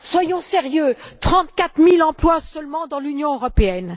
Soyons sérieux, trente quatre mille emplois seulement dans l'Union européenne.